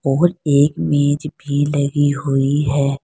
और एक मेज भी लगी हुई है।